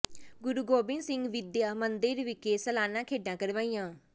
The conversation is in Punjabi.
ਗੁਰੂ ਗੋਬਿੰਦ ਸਿੰਘ ਵਿੱਦਿਆ ਮੰਦਿਰ ਵਿਖੇ ਸਾਲਾਨਾ ਖੇਡਾਂ ਕਰਵਾਈਆਂ